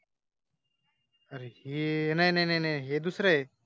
अरे हे नाही नाही नाही नाही हे दुसरं आहे.